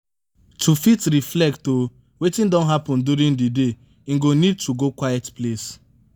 to fit reflect o wetin don happen during di day im go need to go quiet place